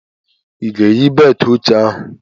I ga-eyi beltụ oche ahụ?